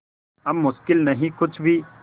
अब मुश्किल नहीं कुछ भी